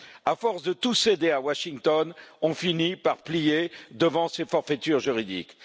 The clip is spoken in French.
À force de tout céder à Washington, on finit par plier devant ces forfaitures juridiques.